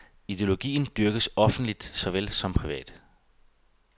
Ideologien dyrkes offentligt såvel som privat.